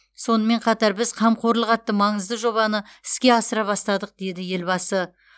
сонымен қатар біз қамқорлық атты маңызды жобаны іске асыра бастадық деді елбасы